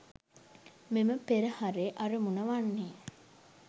මෙම පෙරහරේ අරමුණ වන්නේ